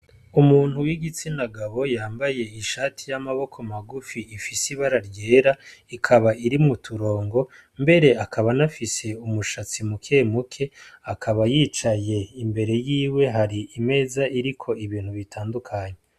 Umuntu w'igitsina gabo yanbaye ishati y'amaboko magufi ifise ibara ryera ikaba irimwo uturongo mbere akaba anafise umushatsi mukemuke akaba yicaye imbere yiwe hari imeza iriko ibintu bitandukanye.